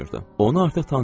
Onu artıq tanıyırdılar.